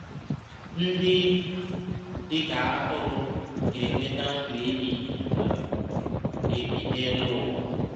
Ndị dị ka atụrụ ga-enweta ndụ ebighị um ebi n’elu ụwa